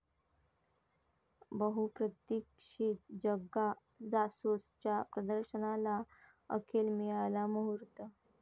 बहुप्रतीक्षित 'जग्गा जासूस'च्या प्रदर्शनाला अखेर मिळाला मुहूर्त